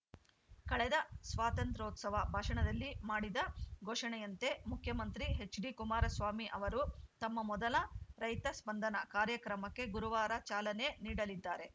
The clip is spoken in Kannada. ಕಳೆದ ಸ್ವಾತಂತ್ರ್ಯೋತ್ಸವ ಭಾಷಣದಲ್ಲಿ ಮಾಡಿದ ಘೋಷಣೆಯಂತೆ ಮುಖ್ಯಮಂತ್ರಿ ಎಚ್‌ಡಿಕುಮಾರಸ್ವಾಮಿ ಅವರು ತಮ್ಮ ಮೊದಲ ರೈತ ಸ್ಪಂದನಕಾರ್ಯಕ್ರಮಕ್ಕೆ ಗುರುವಾರ ಚಾಲನೆ ನೀಡಲಿದ್ದಾರೆ